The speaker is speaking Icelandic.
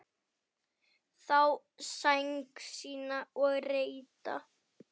Sá sæng sína upp reidda.